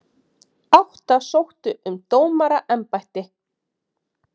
Átta sóttu um dómaraembætti